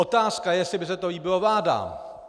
Otázka je, jestli by se to líbilo vládám!